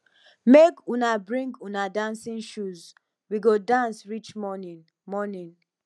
make una bring una dancing shoes we go dance reach morning morning